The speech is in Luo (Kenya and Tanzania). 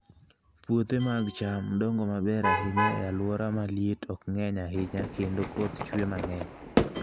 Puothe mag cham dongo maber ahinya e alwora ma liet ok ng'eny ahinya kendo koth chue mang'eny.